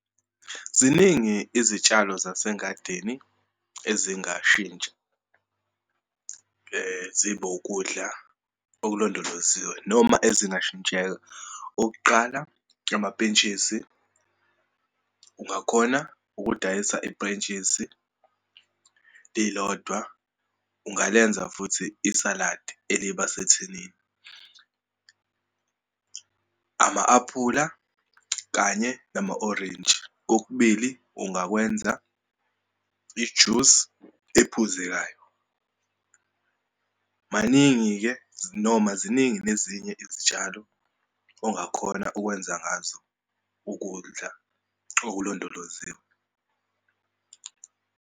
Ziningi izitshalo zasengadini ezingashintsha zibe ukudla okulondoloziwe, noma ezingashintsheka. Okuqala, amapentshisi, ungakhona ukudayisa ipentshisi lilodwa, ungalenza futhi isaladi eliba sethinini. Ama-aphula kanye nama orintshi, kokubili ungakwenza ijusi ephuzekayo. Maningi-ke, noma ziningi nezinye izitshalo ongakhona ukwenza ngazo ukudla okulondoloziwe.